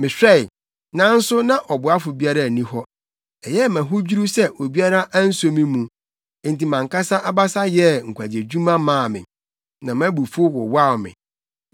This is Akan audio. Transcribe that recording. Mehwɛe, nanso na ɔboafo biara nni hɔ, ɛyɛɛ me ahodwiriw sɛ obiara anso me mu; enti mʼankasa abasa yɛɛ nkwagyedwuma maa me, na mʼabufuw wowaw me.